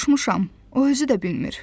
Sorurmuşam, o özü də bilmir.